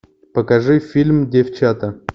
покажи фильм девчата